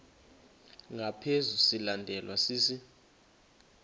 ngaphezu silandelwa sisi